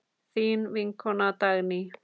Þín vinkona Dagný.